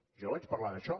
jo vaig parlar d’això